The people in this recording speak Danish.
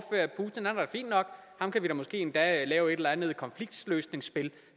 ham kan vi måske endda lave et eller andet konfliktløsningsspil